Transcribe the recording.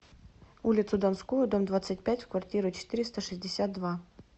улицу донскую дом двадцать пять в квартиру четыреста шестьдесят два